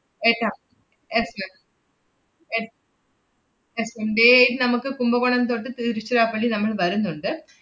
എട്ടാ~ yes ma'am എട്~ yes ma'am, day eight നമ്മക്ക് കുംഭകോണം തൊട്ട് തിരുച്ചിറപ്പള്ളി നമ്മള് വരുന്നുണ്ട്.